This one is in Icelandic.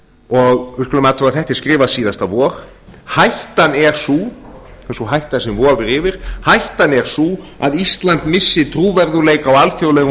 og við skulum athuga að þetta er skrifað síðasta vor hættan er sú sú hætta sem vofir yfir hættan er sú að ísland missi trúverðugleika á alþjóðlegum